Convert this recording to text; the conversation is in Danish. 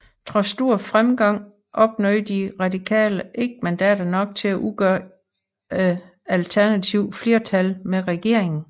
Trods stor vælgerfremgang opnåede De Radikale ikke mandater nok til at udgøre et alternativt flertal med regeringen